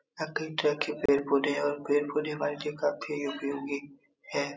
यहाँ कई तरह के पेड़-पौधे हैं और पेड़ पौधे हमारे लिए काफी उपयोगी हैं।